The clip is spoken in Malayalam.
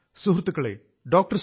സുഹൃത്തുക്കളേ ഈ മാസം ഡോ